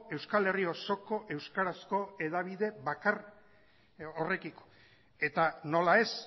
euskal herri osoko euskarazko hedabide bakar horrekiko eta nola ez